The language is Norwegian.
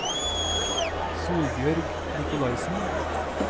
Solbjørg Nicolaisen